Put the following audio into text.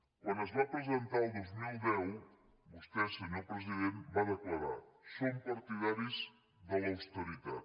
quan es va presentar el dos mil deu vostè senyor president va declarar som partidaris de l’austeritat